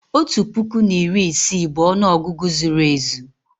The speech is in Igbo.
otu puku na iri isii bụ ọnụ ọgụgụ zuru ezu